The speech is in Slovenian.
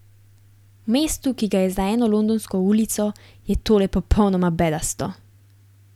V mestu, ki ga je za eno londonsko ulico, je tole popolnoma bedasto.